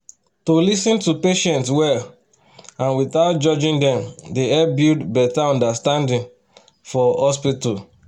to lis ten to patients well and without judging dem dey help build better understanding for hospital.